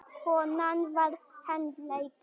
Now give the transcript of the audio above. Konan var handtekin